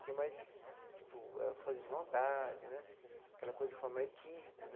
Tinha mais, tipo, força de vontade né, aquela coisa de formar equipe.